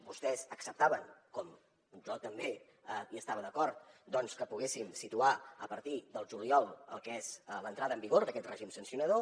vostès acceptaven com jo també hi estava d’acord doncs que poguéssim situar a partir del juliol el que és l’entrada en vigor d’aquest règim sancionador